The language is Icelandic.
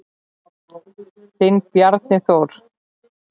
Þinn Bjarni Þór.